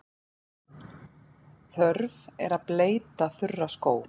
Þörf er að bleyta þurra skó.